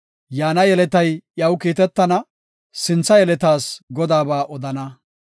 Yaana yeletay iyaw kiitetana; sintha yeletas Godaaba odana.